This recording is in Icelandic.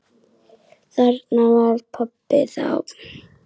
Þarna var pabbi þá.